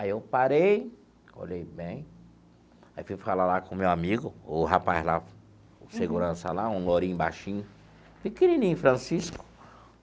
Aí eu parei, olhei bem, aí fui falar lá com o meu amigo, o rapaz lá, o segurança lá, um loirinho baixinho, pequenininho, Francisco.